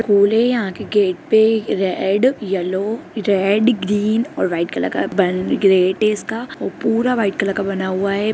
फूल है यहां के गेट पे रेड येलो रेड ग्रीन और व्हाइट कलर का बना ग्रेट है इसका और पुरा व्हाइट कलर का बना हुआ है ।